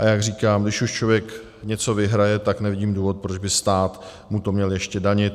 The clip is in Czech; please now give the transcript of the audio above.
A jak říkám, když už člověk něco vyhraje, tak nevidím důvod, proč by mu to stát měl ještě danit.